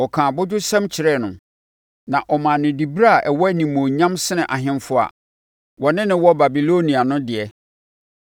Ɔkaa abodwosɛm kyerɛɛ no, na ɔmaa no diberɛ a ɛwɔ animuonyam sene ahemfo a wɔne no wɔ Babilonia no deɛ.